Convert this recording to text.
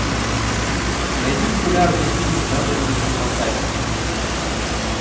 найди популярные фильмы в жанре научной фантастики